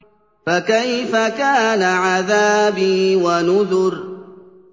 فَكَيْفَ كَانَ عَذَابِي وَنُذُرِ